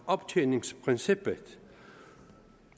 optjeningsprincippet